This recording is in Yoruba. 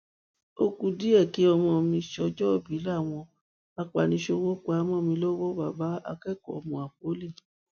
ó ku ọjọ díẹ kí ọmọ mi sọjọòbí láwọn apaniṣòwò pa á mọ mi lọwọ bàbá akẹkọọ mapoly